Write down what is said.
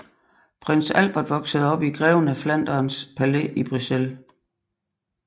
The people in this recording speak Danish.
Prins Albert voksede op i Greven af Flanderns Palæ i Bruxelles